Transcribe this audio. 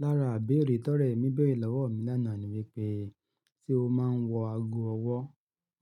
Lára ibẹ̀re tọ́rẹ mí bẹ̀re lọ́wọ́ mi lánàá ni wípé se ó máa ń wọ ago ọwọ́.